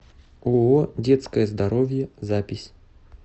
ооо детское здоровье запись